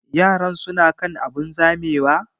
Yaran su na kan abun zamewa?